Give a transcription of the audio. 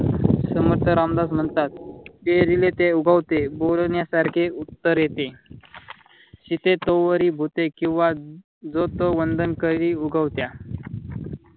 समर्थ रामदास म्हणतात. पेरिले ते उगवते बोलण्यासारखे उत्तरेते. शिते तोवरी भुते किंव्हा जो तो वंदन करी उगवत्या.